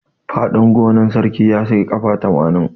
Fadin gonan sarki ya kai kafa tamanin.